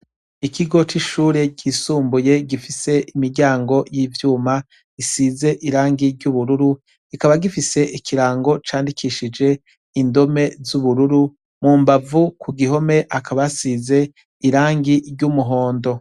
Ikigo c' ishure ryisumbuye gifise imiryango y' ivyuma isize irangi ry' ubururu, kikaba gifise ikirango candikishije indome z'ubururu, mu mbavu ku gihome hakaba hasize irangi ry' umuhondo.